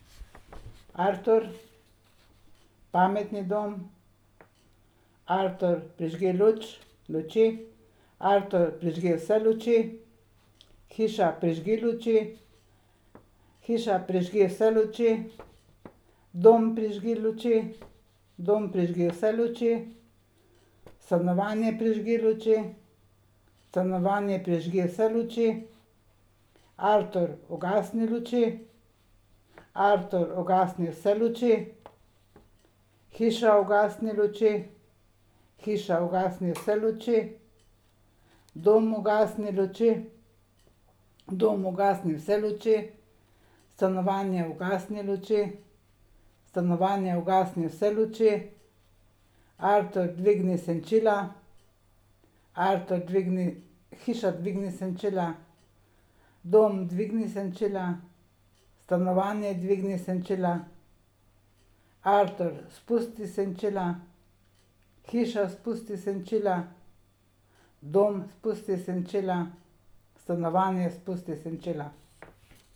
Artur. Pametni dom. Artur, prižgi luč, luči. Artur, prižgi vse luči. Hiša, prižgi luči. Hiša, prižgi vse luči. Dom, prižgi luči. Dom, prižgi vse luči. Stanovanje, prižgi luči. Stanovanje, prižgi vse luči. Artur, ugasni luči. Artur, ugasni vse luči. Hiša, ugasni luči. Hiša, ugasni vse luči. Dom, ugasni luči. Dom, ugasni vse luči. Stanovanje, ugasni luči. Stanovanje, ugasni vse luči. Artur, dvigni senčila. Artur dvigni, hiša, dvigni senčila. Dom, dvigni senčila. Stanovanje, dvigni senčila. Artur, spusti senčila. Hiša, spusti senčila. Dom, spusti senčila. Stanovanje, spusti senčila.